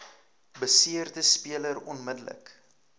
beseerde speler onmiddellik